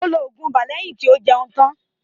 Ó lọ oògùn ibà lẹ́yìn tí ó jẹun tán.